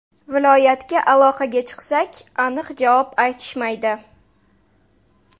Viloyatga aloqaga chiqsak, aniq javob aytishmaydi.